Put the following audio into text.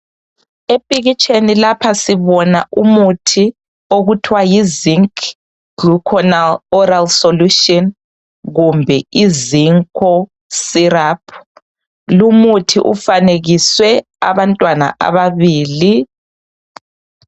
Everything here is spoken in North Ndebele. Epikitsheni lapha sibona umuthi okuthiwa yizinc gluconal oral solution kumbe I zinco syrup. Lumuthi ufanekiswe abantwana ababili